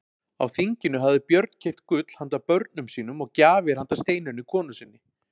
Á þinginu hafði Björn keypt gull handa börnum sínum og gjafir handa Steinunni konu sinni.